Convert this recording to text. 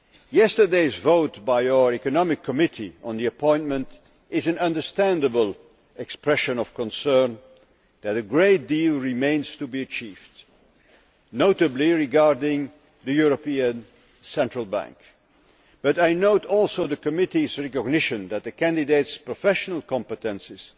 Yesterday's vote by the Committee on Economic and Monetary Affairs on the appointment is an understandable expression of concern that a great deal remains to be achieved, notably regarding the European Central Bank. But I note also the committee's recognition that the candidate's professional competences